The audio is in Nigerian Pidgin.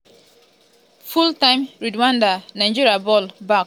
full-time rwanda 0-0 nigeria ball back um in play.